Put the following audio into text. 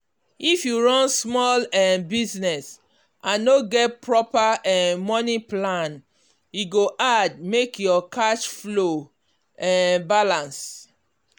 if you run small um business and no get proper um money plan e go hard make your cash flow um balance.